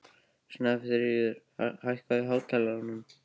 Snæfríð, hækkaðu í hátalaranum.